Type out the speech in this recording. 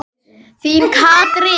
Þín Katrín.